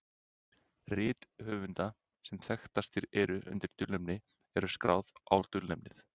Rit höfunda sem þekktastir eru undir dulnefni eru skráð á dulnefnið.